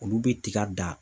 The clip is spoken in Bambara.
Olu bɛ tiga dan